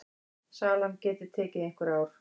Salan geti tekið einhver ár.